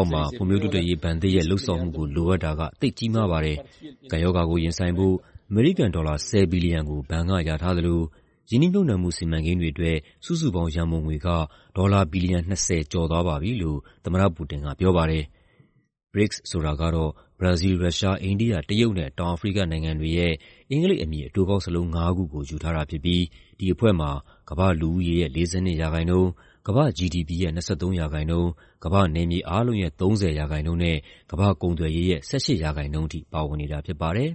ာက်မှာ ဖွံံ့ဖြိုးတိုးတက်ရေးဘဏ်သစ်ရဲ့ လုပ်ဆောင်မှုကို လိုအပ်တာက သိပ်ကြီးမားပါတယ်။ ကပ်ရောဂါကိုရင်ဆိုင်ဖို့ အမေရိကန်ဒေါ်လာ ၁၀ ဘီလီယံကို ဘဏ်ကလျာထားသလို ရင်းနှီးမြှုပ်နှံမှု စီမံကိန်းတွေအတွက် စုစုပေါင်းရန်ပုံငွေက ဒေါ်လာ ဘီလီယံ ၂၀ ကျော်သွားပါပြီ" လို့ သမ္မတပူတင်ကပြောပါတယ်။ BRICS ဆိုတာကတော့ ဘရာဇီးလ်၊ ရုရှား၊ အိန္ဒိယ၊ တရုတ်နဲ့ တောင်အာဖရိကနိုင်ငံတွေရဲ့ အင်္ဂလိပ်အမည် အတိုကောက်စာလုံးငါးခုကို ယူထားတာဖြစ်ပြီး ဒီအဖွဲ့မှာ ကမ္ဘာ့လူဦးရေရဲ့ ၄၂% ၊ ကမ္ဘာ့ GDP ရဲ့ ၂၃% ၊ ကမ္ဘာ့နယ်မြေအားလုံးရဲ့ ၃၀% နဲ့ ကမ္ဘာ့ကုန်သွယ်ရေးရဲ့ ၁၈% ထိ ပါဝင်တာဖြစ်ပါတယ်။